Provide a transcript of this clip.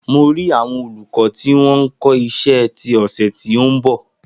Mo rì àwọn olùkọ́ tí wọn ń kọ iṣẹ́ ti ọ̀sẹ̀ ti ó ń bọ̀ sílè